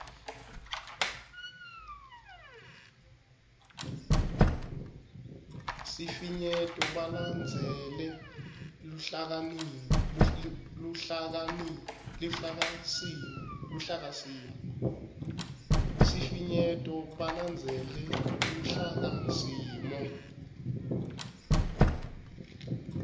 sifinyeto balandzele luhlakasimo